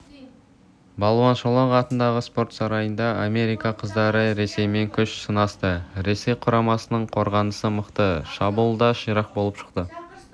балуан шолақ атындағы спорт сарайында америка қыздары ресеймен күш сынасты ресей құрамасының қорғанысы мықты шабуылы да ширақ боп шықты